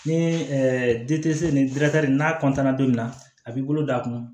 Ni nin n'a don min na a b'i bolo d'a kun